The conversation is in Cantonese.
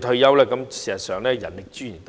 退休，事實上是浪費人力資源。